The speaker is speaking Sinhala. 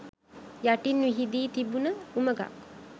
යටින් විහිදී තිබුණ උමගක්